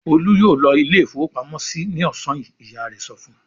"Olú yóò lọ ilé-ìfowópamọ́sí ní ọ̀sán yìí!" Ìyá rẹ̀ sọ fún un.